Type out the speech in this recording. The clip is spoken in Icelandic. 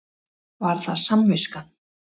Var það samviskan?